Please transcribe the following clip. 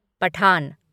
Pathan